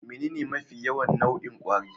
Menene mafi yawan nau'in kwari?